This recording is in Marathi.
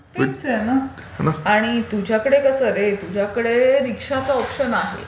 हो, तेच आहे ना. आणि तुझ्याकडे कसं रे तुझ्याकडे रिक्शाचा ऑप्शन आहे.